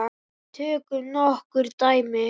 Tökum nokkur dæmi.